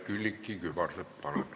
Külliki Kübarsepp, palun!